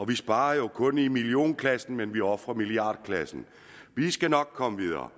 vi sparer jo kun i millionklassen men vi ofrer i milliardklassen vi skal nok komme videre